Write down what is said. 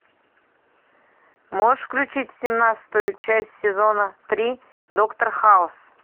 можешь включить семнадцатую часть сезона три доктор хаус